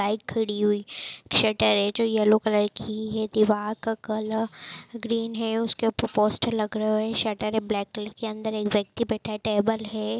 Bike खड़ी हुई shutter हैं जो कलर की हैं दिवार का कलर ग्रीन हैं पोस्टर लगे हुए हैं शटर हैं ब्लैक कलर की अंदर एक व्यक्ति बैठा हैं टेबल हैं।